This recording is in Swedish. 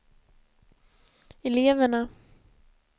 eleverna